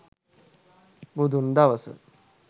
බුදුන් දවස